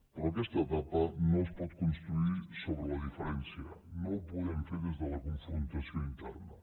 però aquesta etapa no es pot construir sobre la diferència no ho podem fer des de la confrontació interna